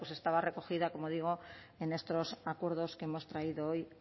pues estaba recogida como digo en estos acuerdos que hemos traído hoy